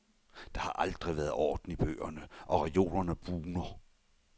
Der har aldrig været orden i bøgerne, og reolerne bugner.